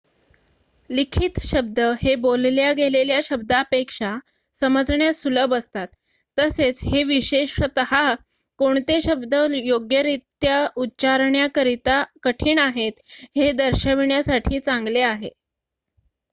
लिखित शब्द हे बोलल्या गेलेल्या शब्दापेक्षा समजण्यास सुलभ असतात तसेच हे विशेषतः कोणते शब्द योग्यरित्या उच्चारण्याकरिता कठीण आहेत हे दर्शविण्यासाठी चांगले आहे